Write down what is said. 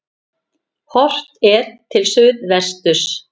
Horft er til suðvesturs.